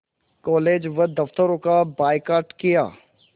college व दफ़्तरों का बायकॉट किया